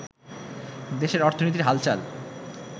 দেশের অর্থনীতির হালচাল